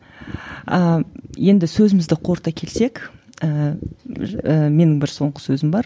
ііі енді сөзімізді қорыта келсек ііі менің бір соңғы сөзім бар